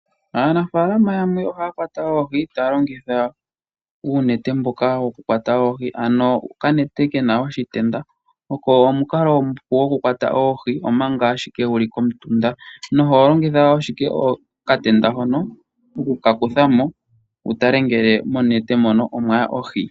Aanafalama yamwe ohaya kwata oohi taya longitha uunete mboka wokukwata oohi, ano okanete kena oshitenda oko omukalo omupu gokukwata oohi manga ashike wuli komutunda. Na oho longitha wo ashike okatenda hono oku ka kuthamo wutale ngele monete mono omwaya oohi.